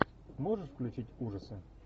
можешь включить ужасы